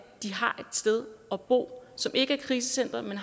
sted at bo som ikke er krisecenteret men